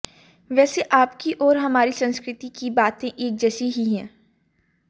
वैसे आपकी और हमारी संस्कृति की बातें एक जैसी ही हैं